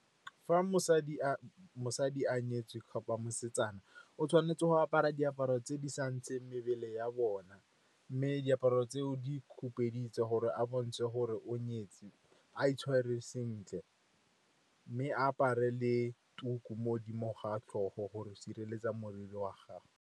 Fa mosadi a nyetswe kapa mosetsana, o tshwanetse go apara diaparo tse di sa ntsheng mebele ya bona. Mme diaparo tseo di khupeditse gore a bontshe gore o nyetswe, a itshwere sentle. Mme a apare le tuku mo godimo ga a tlhogo gore a sireletse moriri wa gagwe.